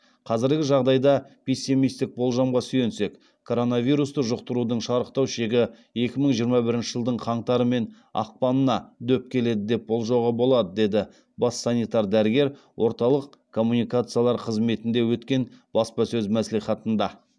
қазіргі жағдайда пессимистік болжамға сүйенсек коронавирусты жұқтырудың шарықтау шегі екі мың жиырма бірінші жылдың қаңтары мен ақпанына дөп келеді деп болжауға болады деді бас санитар дәрігер орталық коммуникациялар қызметінде өткен баспасөз мәслихатында